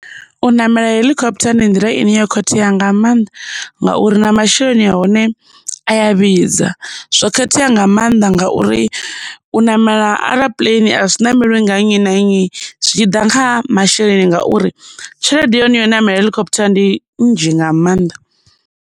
U ṋamela heḽikhoputha ndi nḓila i ne yo khethea nga mannḓa, ngauri na masheleni a hone a ya vhidza. Zwo khethea nga mannḓa ngauri, u ṋamela a zwi namelwi nga nnyi na nnyi zwi tshi ḓa kha masheleni ngauri, tshelede ya hone yo ṋamela heḽikhoputha ndi nzhi nga maanḓa.